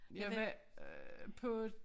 Jeg var øh på